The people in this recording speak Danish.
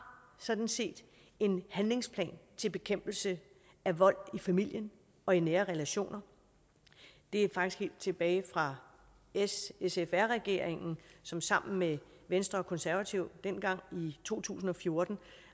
sådan set en handlingsplan til bekæmpelse af vold i familien og i nære relationer det er faktisk helt tilbage fra s sf r regeringen som sammen med venstre og konservative dengang i to tusind og fjorten